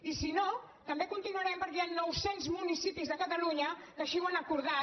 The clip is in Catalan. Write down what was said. i si no també continuarem perquè hi han noucents municipis de catalunya que així ho han acordat